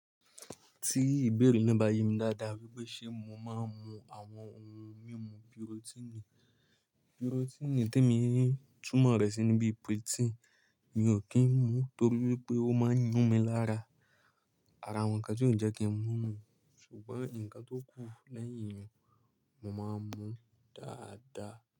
Tí ìbéèrè náà bá yé mi dáadáa wípé ṣe mo máa ń mu àwọn ohun mímu birotini. Pirotini tí èmi tún mọ̀ rẹ̀ sí níbí protein mi ò kí ń mu torí wípé ó máa ń yún mi lára. Àrà wọ̀nkan tí ó ń jẹ́ kí ń mú nù, ṣùgbọ́n ǹkan tó kù lẹ́yìn ìyẹn mo máa ń mu dáadáa.